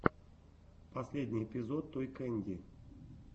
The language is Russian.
последний эпизод той кэнди